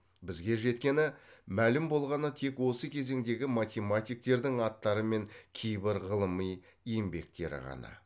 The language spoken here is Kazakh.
бізге жеткені мәлім болғаны тек осы кезеңдегі математиктердің аттары мен кейбір ғылыми еңбектері ғана